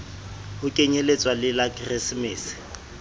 ho kenyelletswa le la keresemese